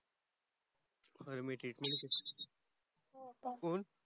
अरे